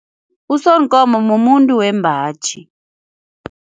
USonkomo mumuntu wembaji.